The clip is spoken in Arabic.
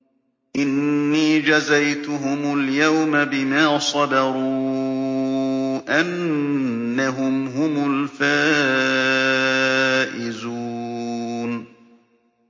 إِنِّي جَزَيْتُهُمُ الْيَوْمَ بِمَا صَبَرُوا أَنَّهُمْ هُمُ الْفَائِزُونَ